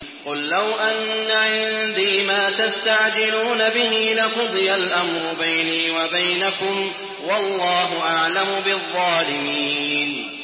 قُل لَّوْ أَنَّ عِندِي مَا تَسْتَعْجِلُونَ بِهِ لَقُضِيَ الْأَمْرُ بَيْنِي وَبَيْنَكُمْ ۗ وَاللَّهُ أَعْلَمُ بِالظَّالِمِينَ